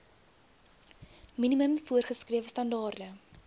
minimum voorgeskrewe standaarde